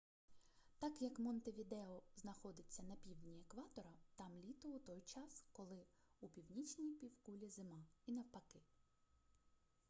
так як монтевідео знаходиться на півдні екватора там літо у той час коли у північній півкулі зима і навпаки